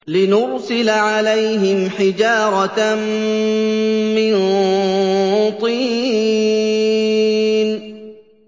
لِنُرْسِلَ عَلَيْهِمْ حِجَارَةً مِّن طِينٍ